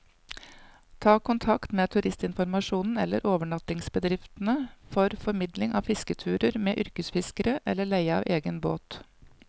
Ta kontakt med turistinformasjonen eller overnattingsbedriftene for formidling av fisketurer med yrkesfiskere, eller leie av egen båt.